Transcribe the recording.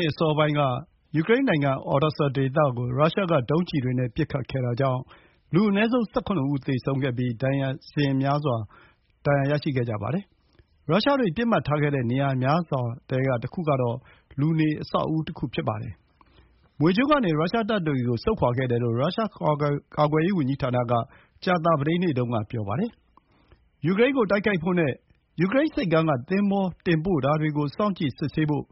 ေ့အစောပိုင်းက Odesa ဒေသကို ရုရှားဒုံးကျည်တွေနဲ့ ပစ်ခတ်ခဲ့တာကြောင့် လူအနည်းဆုံး ၁၇ ဦးသေဆုံးခဲ့ပြီး ဒါဇင်များစွာ ဒဏ်ရာရရှိခဲ့ကြပါတယ်။ ရုရှားတွေပစ်မှတ်ထားခဲ့တဲ့ နေရာများစွာထဲကတခုကတော့ လူ နေ အဆောက်အဦးတခု ဖြစ်ပါတယ်။ ကြာသပတေးနေ့တုန်းကတော့ မြွေကျွန်းကနေ ရုရှားတပ်တွေကို ဆုတ်ခွါခဲ့တယ်လို့ ရုရှားကာကွယ်ရေးဝန်ကြီးဌာနက ပြောပါတယ်။ ယူကရိန်းကိုတိုက်ခိုက်ဖို့နဲ့ ယူကရိန်းဆိပ်ကမ်းက သင်္ဘောတင်ပို့တာတွေကို စောင့်ကြည့် စစ်ဆေးဖို့